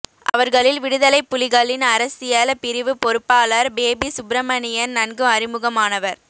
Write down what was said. அவர்களில் விடுதலைப் புலிகளின் அரசியல் பிரிவு பொறுப்பாளர் பேபி சுப்பிரமணியன் நன்கு அறிமுகமானவர்